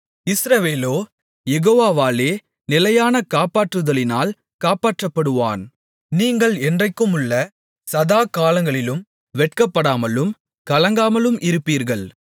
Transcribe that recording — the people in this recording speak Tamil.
இஸ்ரவேலோ யெகோவாவாலே நிலையான காப்பாற்றுதலினால் காப்பாற்றப்படுவான் நீங்கள் என்றென்றைக்குமுள்ள சதாகாலங்களிலும் வெட்கப்படாமலும் கலங்காமலும் இருப்பீர்கள்